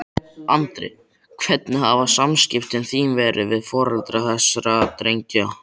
Andri: Hvernig hafa samskipti þín verið við foreldra þessara drengja?